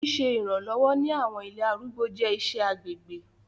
Siṣe iranlọwọ ni àwọn ilé arúgbó jẹ iṣẹ agbegbe